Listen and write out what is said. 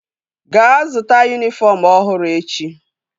Gaa zụta yunifọm ọhụrụ echi!